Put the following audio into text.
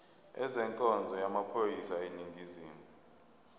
ezenkonzo yamaphoyisa aseningizimu